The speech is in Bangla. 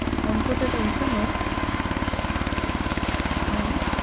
অঙ্কতে tension হয়? হ্যাঁ